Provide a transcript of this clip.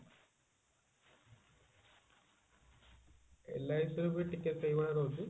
LIC ର ବି ଟିକେ ସେଇଭଳିଆ ରହୁଛି